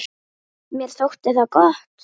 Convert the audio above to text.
Mér þótti það gott.